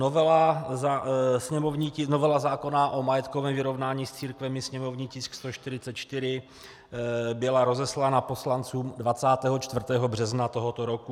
Novela zákona o majetkovém vyrovnání s církvemi, sněmovní tisk 144, byla rozeslána poslancům 24. března tohoto roku.